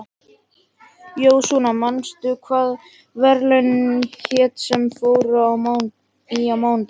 Jósúa, manstu hvað verslunin hét sem við fórum í á mánudaginn?